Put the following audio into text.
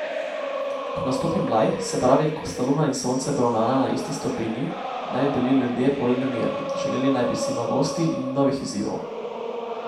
Ko nastopi mlaj, se pravi, ko sta Luna in Sonce poravnana na isti stopinji, naj bi bili ljudje bolj nemirni, želeli naj bi si novosti in novih izzivov.